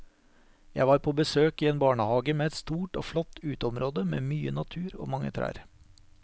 Jeg var på besøk i en barnehage med et stort og flott uteområde med mye natur og mange trær.